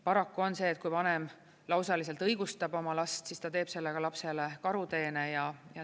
Paraku on see, et kui vanem lausaliselt õigustab oma last, siis ta teeb sellega lapsele karuteene.